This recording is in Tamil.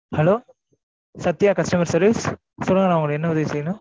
Hello சத்யா customer service சொல்லுங்க நான் உங்களுக்கு என்ன உதவி செய்யணும்?